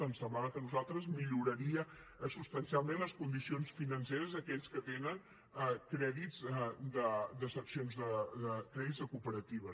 ens semblava a nosaltres que milloraria substancialment les condicions financeres d’aquells que tenen crèdits de cooperatives